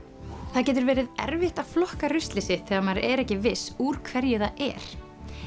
það getur verið erfitt að flokka ruslið sitt þegar maður er ekki viss úr hverju það er